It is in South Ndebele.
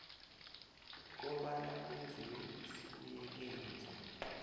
kobana kwenziwe isibuyekezo